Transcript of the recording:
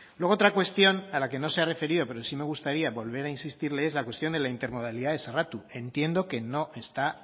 luego otra cuestión a la que no se ha referido pero sí me gustaría volver a insistirle es la cuestión de la intermodalidad de sarratu entiendo que no está